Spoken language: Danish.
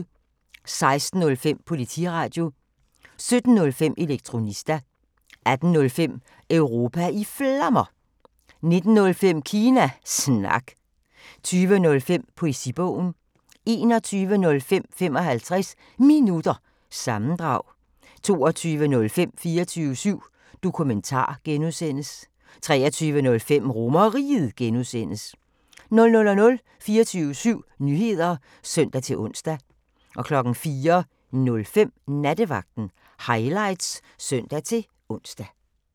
16:05: Politiradio 17:05: Elektronista 18:05: Europa i Flammer 19:05: Kina Snak 20:05: Poesibogen 21:05: 55 Minutter – sammendrag 22:05: 24syv Dokumentar (G) 23:05: RomerRiget (G) 00:00: 24syv Nyheder (søn-ons) 04:05: Nattevagten Highlights (søn-ons)